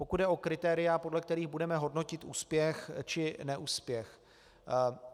Pokud jde o kritéria, podle kterých budeme hodnotit úspěch či neúspěch.